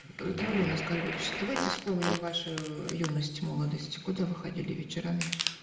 даурен аскарбекович давайте вспомним вашу юность молодость куда вы ходили вечерами